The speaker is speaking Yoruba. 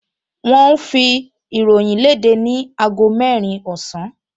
Wọ́n ń fi ìròyìn léde ni aago mẹ́rin ọ̀sán